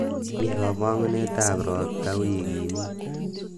mii komong'unetab robta wigini ii